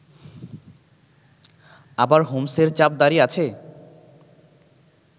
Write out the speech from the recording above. আবার হোমস-এর চাপদাড়ি আছে!